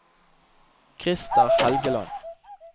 Krister Helgeland